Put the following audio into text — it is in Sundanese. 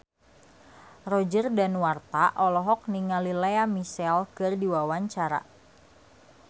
Roger Danuarta olohok ningali Lea Michele keur diwawancara